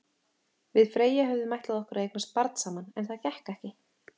Við Freyja höfðum ætlað okkur að eignast barn saman, en það gekk ekki.